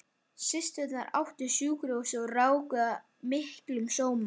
Systurnar áttu sjúkrahúsið og ráku það með miklum sóma.